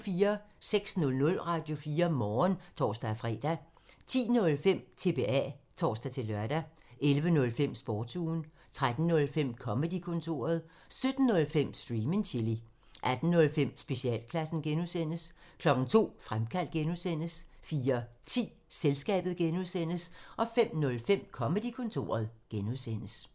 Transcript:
06:00: Radio4 Morgen (tor-fre) 10:05: TBA (tor-lør) 11:05: Sportsugen 13:05: Comedy-kontoret 17:05: Stream and chill 18:05: Specialklassen (G) 02:00: Fremkaldt (G) 04:10: Selskabet (G) 05:05: Comedy-kontoret (G)